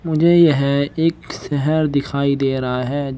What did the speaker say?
मुझे यह एक शहर दिखाई दे रहा है जि--